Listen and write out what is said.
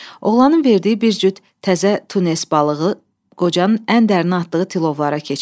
Oğlanın verdiyi bir cüt təzə tunes balığı qocanın ən dərinə atdığı tilovlara keçdi.